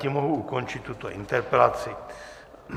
Tím mohu ukončit tuto interpelaci.